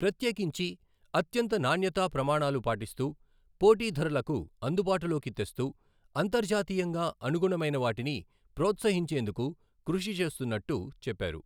ప్రత్యేకించి అ్యతంత నాణ్యతా ప్రమాణాలు పాటిస్తూ, పోటీధరలకు అందుబాటులోకి తెస్తూ అంతర్జాతీయంగా అనుగుణమైనవాటిని ప్రోత్సహించేందుకు కృషి చేస్తున్నట్టు చెప్పారు.